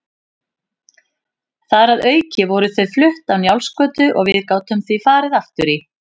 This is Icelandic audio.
Þar að auki voru þau flutt á Njálsgötu og við gátum því farið aftur í